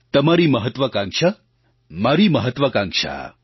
તમારી મહત્ત્વાકાંક્ષા મારી મહત્ત્વાકાંક્ષા